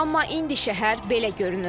Amma indi şəhər belə görünür.